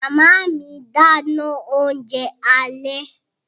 Màmá mi dáná oúnjẹ alẹ́